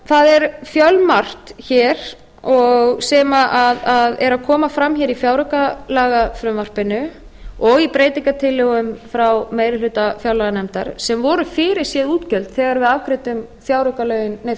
það er fjölmargt hér sem er að koma fram hér í fjáraukalagafrumvarpinu og í breytingartillögum frá meiri hluta fjárlaganefndar sem voru fyrirséð útgjöld þegar við afgreiddum